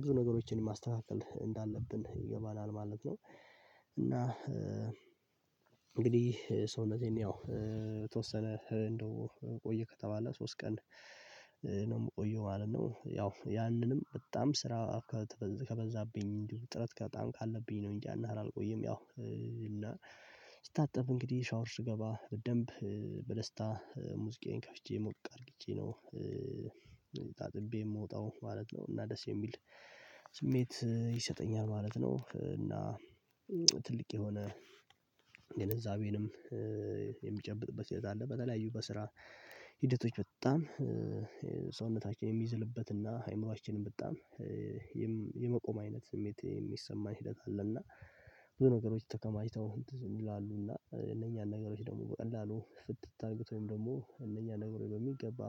ብዙ ነገሮችን ማስተካከል እንዳለብን ይገባናል ማለት ነው። እና እንግዲህ ሰውነቴን ያው የተወሰነ እንደው ቆየ ከተባለ ሶስት ቀን ነው የምቆየው ማለት ነው። ያው ያንንም በጣም ስራ ከበዛብኝ እንዲሁ ጥረት ከጣን ካለብኝ ነው እንጂ ያንያህል አልቆይም። ያው ስታጠብ እንግዲህ ሻወር ስገባ በደንብ በደስታ ሙዚቃዬን ከፍቼ ሞቅ አድርጌ ነው ታጥቤ የምወጣው ማለት ነው። እና ደስ የሚል ስሜት ይሰጠኛል ማለት ነው። እና ትልቅ የሆነ ግንዛቤንም የሚጨብጥበት ህይወት አለ። በተለያዩ በስራ ሂደቶች በጣም ሰውነታችን የሚዝልበትና አይምሮአችንም በጣም የመቆም አይነት ስሜት የሚሰማ ሂደት አለና ብዙ ነገሮች ተከማችተው ይላሉ እና እነኛን ነገሮች ደግሞ በቀላሉ ፍትት አድርገውት ወይም ደግሞ እነኛ ነገሮች በሚገባ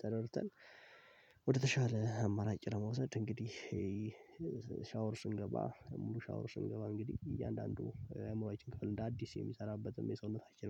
ተደርተን ወደተሻለ አማራጭ ለመውሰድ እንግዲህ ሻወር ስንገባ ሻወር ስንገባ እንግዲህ እያንዳንዱ አእምሮአችን ክፍል እንደ አዲስ የሚሰራበትም የሰውነታችን